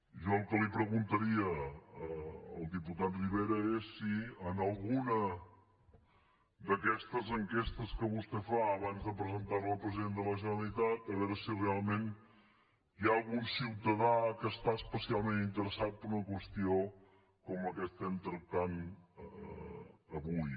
jo el que li preguntaria al diputat rivera és si en alguna d’aquestes enquestes que vostè fa abans de presentar la al president de la generalitat a veure si realment hi ha algun ciutadà que està especialment interessat per una qüestió com la que estem tractant avui